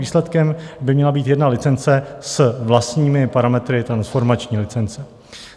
Výsledkem by měla být jedna licence s vlastními parametry transformační licence.